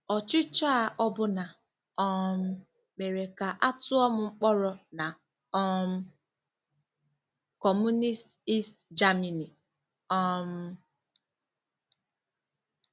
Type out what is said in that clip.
Ọchịchọ a ọbụna um mere ka a tụọ m mkpọrọ na um Kọmunist East Germany. um